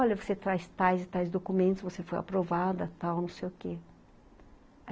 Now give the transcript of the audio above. Olha, você traz tais e tais documentos, você foi aprovada, tal, não sei o quê.